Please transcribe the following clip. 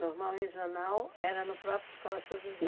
Normal regional era no próprio Escola São José?